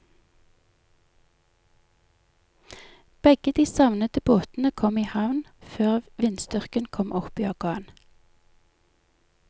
Begge de savnede båtene kom i havn før vindstyrken kom opp i orkan.